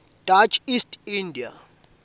dutch east india